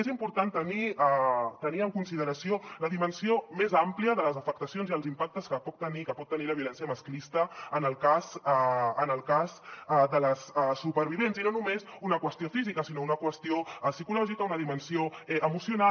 és important tenir en consideració la dimensió més àmplia de les afectacions i els impactes que pot tenir la violència masclista en el cas de les supervivents i no només una qüestió física sinó una qüestió psicològica una dimensió emocional